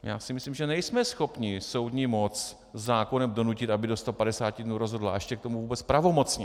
Já si myslím, že nejsme schopni soudní moc zákonem donutit, aby do 150 dnů rozhodla, a ještě k tomu vůbec pravomocně.